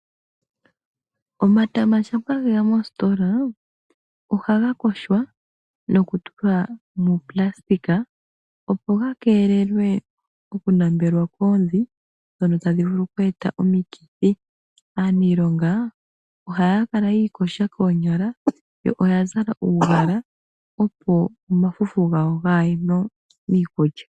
Omatala shampa geya moositola ohaga yogwa nokutulwa muunayilona opo ga keelelwe okunambelwa koondhi ndhono tadhi vulu oku eta omikithi. Aanilonga ohaya kala yi iyoga koonyala yo oyazala uugala opo omafufu gawo ka gaye miikulya.